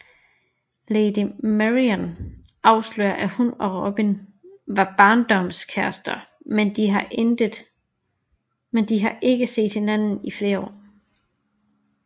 Lady Marian afslører at hun og Robin var barndomskærester men de har ikke set hinanden i flere år